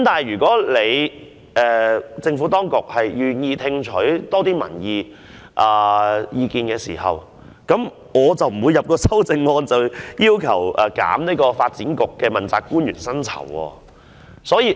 然而，若政府真的願意多聽取民意，我便無需提出修正案，要求削減發展局問責官員的薪酬了。